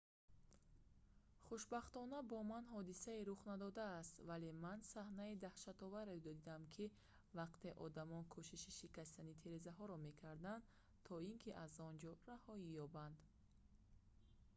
хушбахтона бо ман ҳодисае рух надодааст вале ман саҳнаи даҳшатовареро дидам вақте ки одамон кӯшиши шикастани тирезаҳоро мекарданд то ин ки аз он ҷо раҳоӣ ёбанд